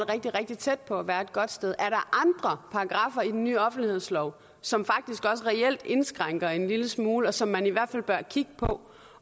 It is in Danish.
rigtig rigtig tæt på at være et godt sted er andre paragraffer i den ny offentlighedslov som faktisk også reelt indskrænker en lille smule og som man i hvert fald bør kigge på